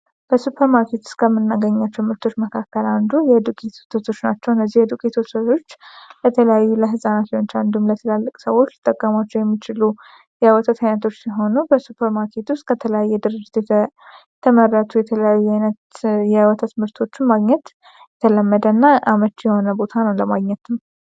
በሱፐር ማርኬት ውስጥ ከምናገኛቸው ምርቶች መካከል የወተት ምርት አንዱ ነው። ለተለያዩ ለህፃናት ሊሆን ይችላል እንዲሁም ለትላልቅ ሰዎች ሊጠቀሙት ይችላሉ የሚጠቀሙት የተለያየ አይነት ሲሆን ለተለያዩ ድርጅቶች የተመረጡ የተለያዩ አይነት የወተት ምርቶችን ለማግኘት የተመረጠና አመቺ የሆነ ቦታ ነው ለማግኘት።